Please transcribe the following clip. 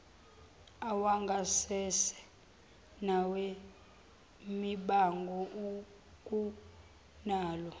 awangasese nawemibango ukunalawo